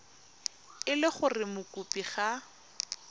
e le gore mokopi ga